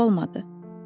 Xəyal yox olmadı.